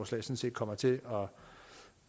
sådan set kommer til